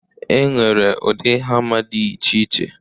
E nwere udi hama dị iche iche.